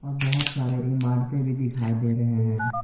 बहोत सारे इमारतें भी दिखाई दे रहे हैं।